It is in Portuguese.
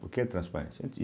Por que a transparência?